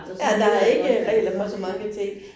Ja, der ikke regler for så mange ting